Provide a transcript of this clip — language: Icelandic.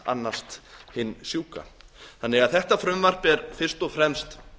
annast hinn sjúka þetta frumvarp er því fyrst og fremst